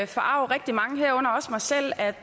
forarge rigtig mange herunder også mig selv at